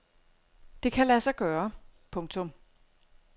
Det kan lade sig gøre. punktum